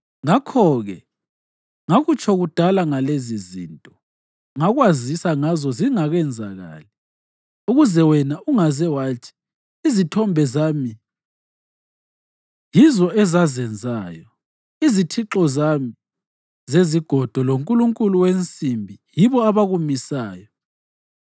Ngakho-ke ngakutsho kudala ngalezizinto, ngakwazisa ngazo zingakenzakali ukuze wena ungaze wathi, ‘Izithombe zami yizo ezazenzayo; izithixo zami zezigodo lonkulunkulu wensimbi yibo abakumisayo.’